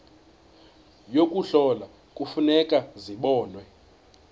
yokuhlola kufuneka zibonwe